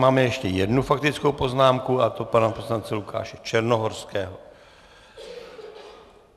Máme ještě jednu faktickou poznámku, a to pana poslance Lukáše Černohorského.